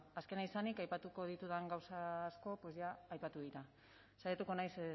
azkena izanik aipatuko ditudan gauza asko aipatu dira saiatuko naiz